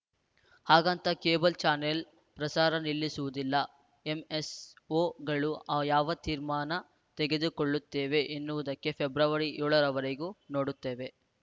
ಹಾಗಂತ cable channel ಪ್ರಸಾರ ನಿಲ್ಲಿಸುವುದಿಲ್ಲ ಎಂಎಸ್‌ಓಗಳು ಆ ಯಾವ ತೀರ್ಮಾನ ತೆಗೆದುಕೊಳ್ಳುತ್ತೇವೆ ಎನ್ನುವುದನ್ನು ಫೆಬ್ರವರಿ ಏಳ ರವರೆಗೂ ನೋಡುತ್ತೇವೆ